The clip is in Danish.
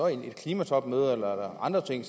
et klimatopmøde eller andre ting